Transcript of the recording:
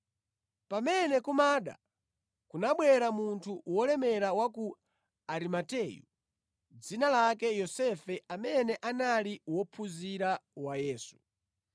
Pamene kumada, kunabwera munthu wolemera wa ku Arimateyu dzina lake Yosefe amene anali wophunzira wa Yesu.